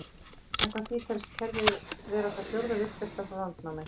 Samkvæmt því telst kerfið vera það fjórða virkasta frá landnámi.